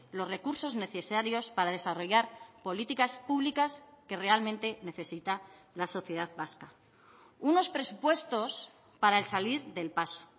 los recursos necesarios para desarrollar políticas públicas que realmente necesita la sociedad vasca unos presupuestos para el salir del paso